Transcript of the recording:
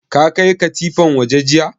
Ka kai katifan waje jiya?